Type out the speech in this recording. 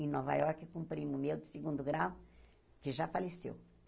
Em Nova Iorque, com o primo meu, de segundo grau, que já faleceu.